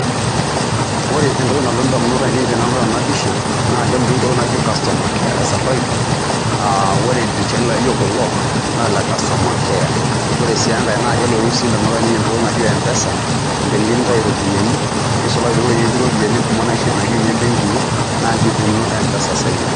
Ore entoki nalotu indamunot anein tenedol ena pisha naa keloti entoki naji customer care e Safaricom aa ore ildirishani laa aijo kulo naa ile customer care, ore sii enkae naa kelotu indamunot aainei entoki naijo M-pesa teniyieu nintayu iropiyiani nisulaki eweuji netii iropiyiani kumok naijio ine mbenkii naa inji ikununno M-pesa enye.